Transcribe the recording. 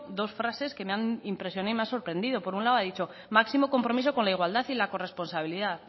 dos frases que me han impresionado y me han sorprendido por un lado ha dicho máximo compromiso con la igualdad y la corresponsabilidad